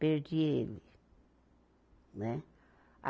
Perdi ele. Né a